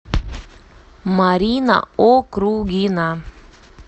марина округина